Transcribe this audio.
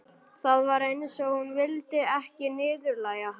Það var eins og hún vildi ekki niðurlægja hann.